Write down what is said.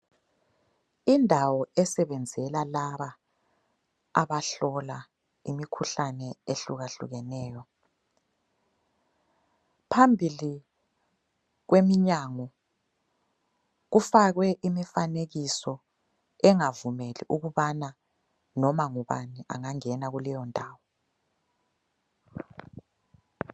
Indawo esebenzela laba abahlola imikhuhlane ehlukahlukeneyo. Phambili kweminyango kufakwe imifanekiso engavumeli ukubana noma ngubani angangena kuleyondawo.